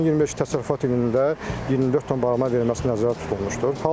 2025-ci təsərrüfat ilində 24 ton barama verilməsi nəzərdə tutulmuşdur.